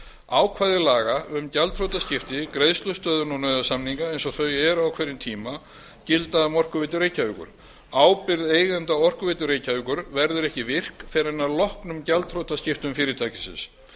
ákvæði laga um gjaldþrotaskipti greiðslustöðvun og nauðasamninga eins og þau eru á hverjum tíma gilda um orkuveitu reykjavíkur ábyrgð eigenda orkuveitu reykjavíkur verður ekki virk fyrr en að loknum gjaldþrotaskiptum fyrirtækisins